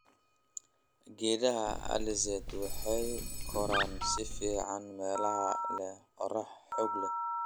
Geedaha alizeti waxay koraan si fiican meelaha leh qorrax xoog leh.